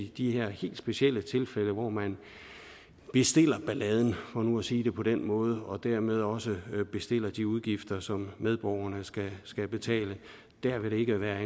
i de her helt specielle tilfælde hvor man bestiller balladen for nu at sige det på den måde og dermed også bestiller de udgifter som medborgerne skal skal betale vil det ikke være